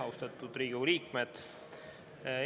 Austatud Riigikogu liikmed!